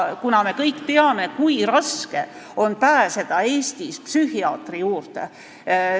Me kõik teame, kui raske on pääseda Eestis psühhiaatri juurde.